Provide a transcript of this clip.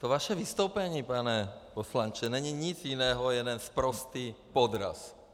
To vaše vystoupení, pane poslanče, není nic jiného - jeden sprostý podraz!